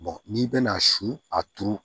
n'i bɛna a su a turu